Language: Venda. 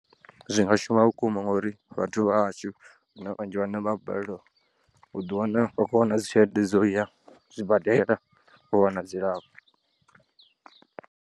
Zwi nga shuma vhukuma ngauri vhathu vhahashu huna vhanzhi vhane vha a balelwa u ḓiwana vha khou wana dzi tshelede dzo uya zwibadela u wana dzilafho.